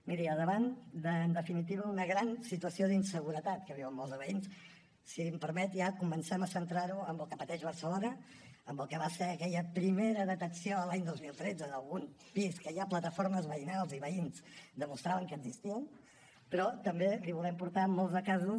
miri davant de en definitiva una gran situació d’inseguretat que viuen molts de veïns si em permet ja comencem a centrar ho en el que pateix barcelona en el que va ser aquella primera detecció l’any dos mil tretze d’algun pis que ja plataformes veïnals i veïns demostraven que existien però també li volem portar molts de casos